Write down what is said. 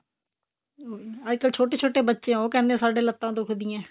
ਅਹ ਅੱਜਕਲ ਛੋਟੇ ਛੋਟੇ ਬੱਚੇ ਉਹ ਕਹਿੰਦੇ ਸਾਡੀ ਲੱਤਾਂ ਦੁੱਖਦੀ ਆਂ